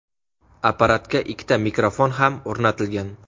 Apparatga ikkita mikrofon ham o‘rnatilgan.